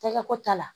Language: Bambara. Tɛgɛ ko ta la